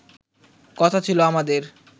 কথা ছিল আমাদের